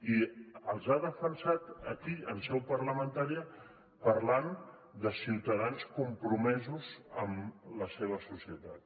i els ha defensat aquí en seu parlamentària parlant de ciutadans compromesos amb la seva societat